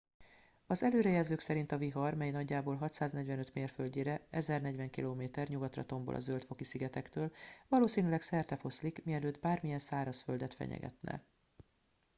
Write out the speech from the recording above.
az előrejelzők szerint a vihar mely nagyjából 645 mérföldnyire 1040 km nyugatra tombol a zöld-foki szigetektől valószínűleg szertefoszlik mielőtt bármilyen szárazföldet fenyegetne